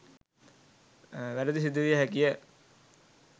වැරැදි සිදුවිය හැකි ය.